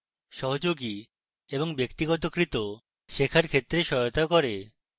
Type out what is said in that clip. সহযোগী এবং ব্যক্তিগতকৃত শেখার ক্ষেত্রে সহায়তা করে